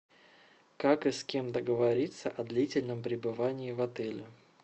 как и с кем договориться о длительном пребывании в отеле